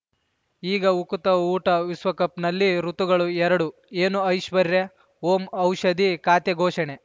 ಈಗ ಉಕುತ ಊಟ ವಿಶ್ವಕಪ್‌ನಲ್ಲಿ ಋತುಗಳು ಎರಡು ಏನು ಐಶ್ವರ್ಯಾ ಓಂ ಔಷಧಿ ಖಾತೆ ಘೋಷಣೆ